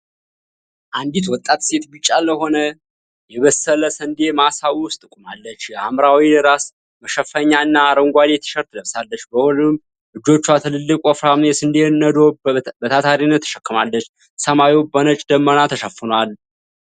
አንዲት ወጣት ሴት ቢጫ ለሆነ የበሰለ ስንዴ ማሳ ውስጥ ቆማለች። የሐምራዊ ራስ መሸፈኛ እና አረንጓዴ ቲሸርት ለብሳለች። በሁለቱም እጆቿ ትልቅና ወፍራም የስንዴ ነዶ በታታሪነት ተሸክማለች። ሰማዩ በነጭ ደመና ተሸፍኗል።